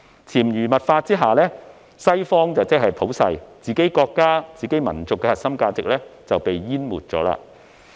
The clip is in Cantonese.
在潛移默化下，西方即普世，自己國家、民族的核心價值則被淹沒了。